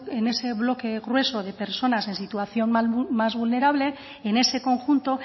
en ese bloque grueso de personas en situación más vulnerable en ese conjunto